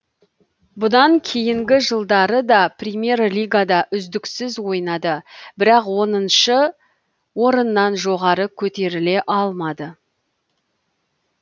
бұдан кейінгі жылдары да премьер лигада үздіксіз ойнады бірақ оныншы орыннан жоғары көтеріле алмады